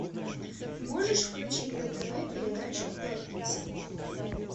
можешь включить на тв передачу пятница